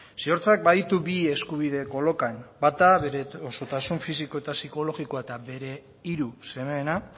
ziortzak baditu bi eskubide kolokan bata bere osotasun fisiko eta psikologikoa eta bere hiru semeena